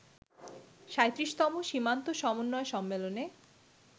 ৩৭তম সীমান্ত সমন্বয় সম্মেলনে